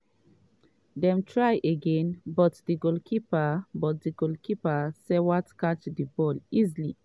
dem try again but goalkeeper but goalkeeper stwart catch di ball easily.